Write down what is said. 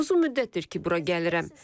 Uzun müddətdir ki, bura gəlirəm.